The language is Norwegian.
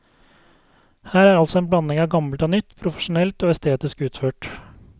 Her er altså en blanding av gammelt og nytt, profesjonelt og estetisk utført.